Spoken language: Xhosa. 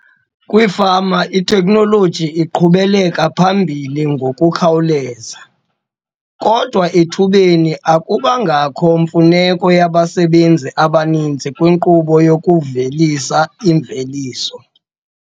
Kwiifama itekhnoloji iqhubele phambili ngokukhawuleza - kodwa ethubeni akubangakho mfuneko yabasebenzi abaninzi kwinkqubo yokuvelisa imveliso.